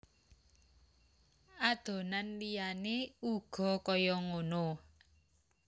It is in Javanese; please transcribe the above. Adonan liyane uga kaya ngono